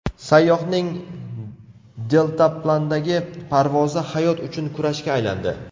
Sayyohning deltaplandagi parvozi hayot uchun kurashga aylandi .